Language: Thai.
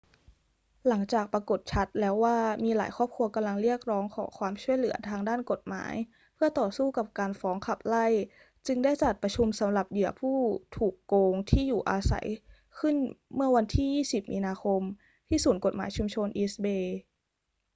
หลังจากปรากฎชัดแล้วว่ามีหลายครอบครัวกำลังเรียกร้องขอความช่วยเหลือทางด้านกฎหมายเพื่อต่อสู้กับการฟ้องขับไล่ จึงได้จัดประชุมสำหรับเหยื่อผู้ถูโกงที่อยู่อาศัยขึ้นเมื่อวันที่ 20 มีนาคมที่ศูนย์กฎหมายชุมชน east bay